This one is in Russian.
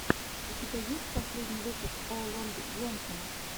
у тебя есть последний выпуск о лонг джонсона